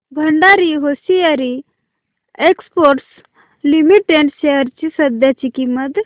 Bhandari hosiery exports limited shares ची सध्याची किंमत